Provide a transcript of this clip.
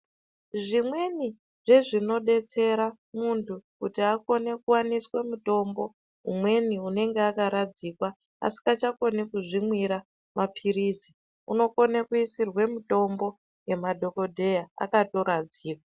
Zvimweni zvezvinodetsera munthu kuti akone kuwaniswe mitombo umweni unenge akaradzikwa asingachakoni kuzvimwira mapirizi unokone kuisirwe mitombo nemadhokodheya akatoradzikwa .